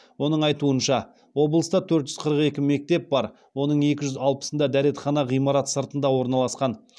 оның айтуынша облыста төрт жүз қырық екі мектеп бар оның екі жүз алпысында дәретхана ғимарат сыртында орналасқан